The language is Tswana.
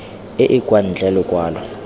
e e kwa ntle lokwalo